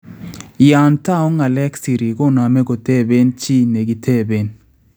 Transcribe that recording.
Yaan tau ng�aleek siriik koname kotebeen chik nekiteeben